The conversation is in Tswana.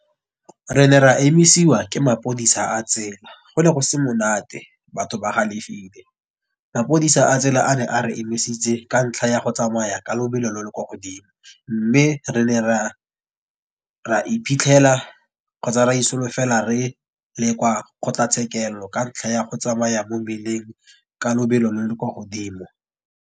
Re ne ra emisiwa ke mapodisa a tsela. Gone go se monate batho ba galefile, mapodisa a tsela a ne a re emisitse ka ntlha ya go tsamaya ka lebelo lo lo kwa godimo. Mme re ne ra iphitlhela kgotsa ra solofela re le kwa kgotlatshekelo ka ntlha ya go tsamaya mo mmeleng ka lebelo lo lo kwa godimo.